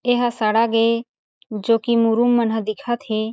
एहा सड़ग ए जो की मुरुम मन ह दिखत हे।